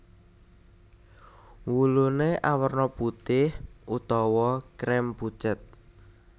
Wuluné awerna putih utawa krem pucet